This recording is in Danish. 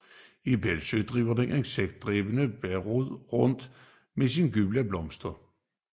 I Bøllesø driver den insektædende blærerod rundt med sine gule blomster